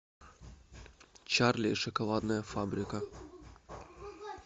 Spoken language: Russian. чарли и шоколадная фабрика